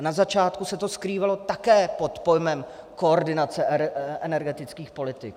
A na začátku se to skrývalo také pod pojmem koordinace energetických politik.